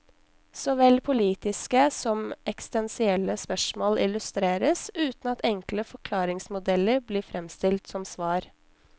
Såvel politiske som eksistensielle spørsmål illustreres, uten at enkle forklaringsmodeller blir fremstilt som svar.